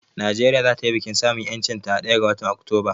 Nigeria za ta yi bikin samun ƴancin ta a ɗaya ga watan Oktoba